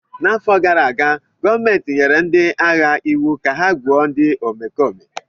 N'afọ gara aga, gọọmentị nyere ndị agha iwu ka ha gbuo ndị omekome!